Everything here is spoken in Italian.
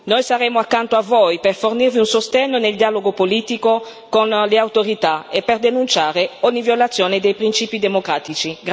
Noi saremo accanto a voi per fornirvi un sostegno nel dialogo politico con le autorità e per denunciare ogni violazione dei principi democratici.